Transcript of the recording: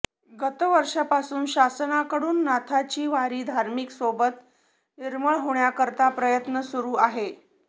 गत वर्षापासून शासनाकडून नाथाची वारी धार्मिक सोबत निर्मळ होण्या करता प्रयत्न सुरू आहे